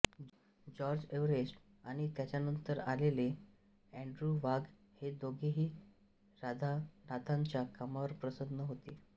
George Everest आणि त्यांच्यानंतर आलेले एन्ड्र्यू वाघ हे दोघेकही राधानाथांच्या कामावर प्रसन्न होते